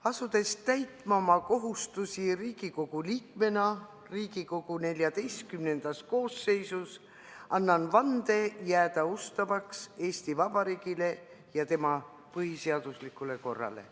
Asudes täitma oma kohustusi Riigikogu liikmena Riigikogu XIV koosseisus, annan vande jääda ustavaks Eesti Vabariigile ja tema põhiseaduslikule korrale.